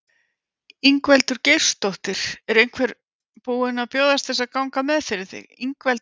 Ingveldur Geirsdóttir: Er einhver búin að bjóðast til þess að ganga með fyrir þig?